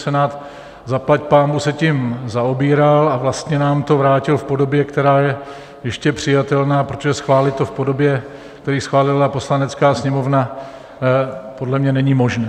Senát zaplať pánbůh se tím zaobíral a vlastně nám to vrátil v podobě, která je ještě přijatelná, protože schválit to v podobě, který schválila Poslanecká sněmovna, podle mě není možné.